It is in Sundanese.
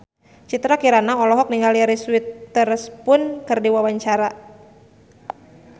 Citra Kirana olohok ningali Reese Witherspoon keur diwawancara